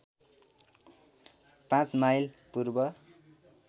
५ mile पूर्व